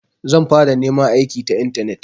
Zan fara neman aiki ta intanet.